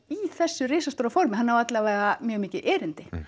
í þessu risastóra formi hann á alla vega mjög mikið erindi